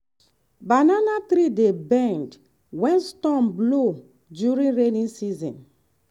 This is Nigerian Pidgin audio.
banana tree dey bend when storm blow during rainy season.